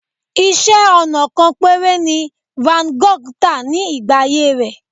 Iṣẹ́-ọnà kan péré ni Van Gogh tà ní ìgbà ayé rẹ̀.